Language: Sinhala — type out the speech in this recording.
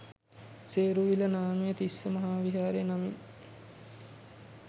සේරුවිල නාමය තිස්ස මහා විහාරය නමින්